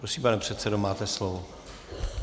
Prosím, pane předsedo, máte slovo.